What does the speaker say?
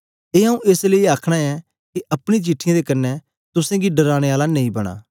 ए आंऊँ एस लेई आखन ऐं के अपनी चिठ्ठीयें दे क्न्ने तुसेंगी डराने आला नेई बनां